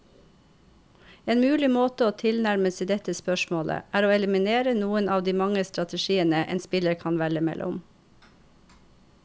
En mulig måte å tilnærme seg dette spørsmålet, er å eliminere noen av de mange strategiene en spiller kan velge mellom.